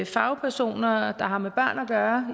fagpersoner der har med børn at gøre